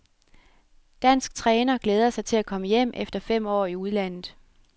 Dansk træner glæder sig til at komme hjem efter fem år i udlandet.